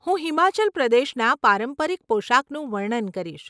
હું હિમાચલ પ્રદેશના પારંપરિક પોશાકનું વર્ણન કરીશ.